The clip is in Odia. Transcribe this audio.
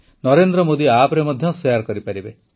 ନରେନ୍ଦ୍ର ମୋଦି ଆପ୍ରେ ମଧ୍ୟ ଶେୟାର କରିପାରିବେ